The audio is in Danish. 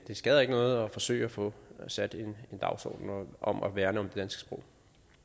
det skader ikke noget at forsøge at få sat en dagsorden om at værne om det sprog